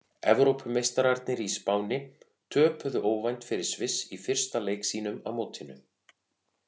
Evrópumeistararnir í Spáni töpuðu óvænt fyrir Sviss í fyrsta leik sínum á mótinu.